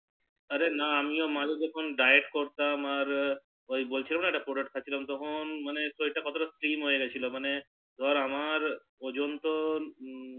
আরে না আমিও মাঝে যখন diet করতাম আর ওই বলছিলাম যে একটা Product খাচ্ছিলাম তখন মানে শরীর টা কতটা Slim হয়ে গিয়েছিলাম মানে ধর আমার ওজন তো